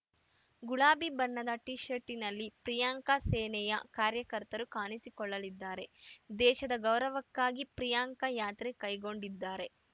ಗುಲಾಬಿ ಬಣ್ಣದ ಟಿ ಶರ್ಟ್‌ನಲ್ಲಿ ಪ್ರಿಯಾಂಕಾ ಸೇನೆಯ ಕಾರ್ಯಕರ್ತರು ಕಾಣಿಸಿಕೊಳ್ಳಲಿದ್ದಾರೆ ದೇಶದ ಗೌರವಕ್ಕಾಗಿ ಪ್ರಿಯಾಂಕಾ ಯಾತ್ರೆ ಕೈಗೊಂಡಿದ್ದಾರೆ